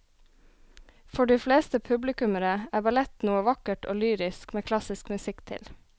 For de fleste publikummere er ballett noe vakkert og lyrisk med klassisk musikk til.